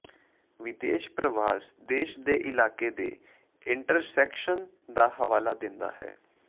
ਵਿਦੇਸ਼ ਪ੍ਰਵਾਸ ਦੇਸ਼ ਦੇ ਇਲਾਕੇ ਦੇ ਇੰਟਰਸੈਕਸ਼ਨ ਦਾ ਹਵਾਲਾ ਦਿੰਦਾ ਹੈ